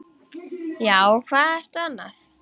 Já, hvað ertu annað?